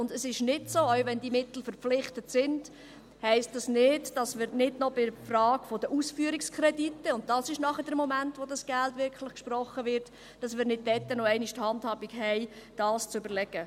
Auch wenn diese Mittel verpflichtet sind, heisst das nicht, dass wir bei der Frage der Ausführungskredite – das ist der Moment, in dem das Geld wirklich gesprochen wird – nicht noch einmal die Handhabe haben, das zu überlegen.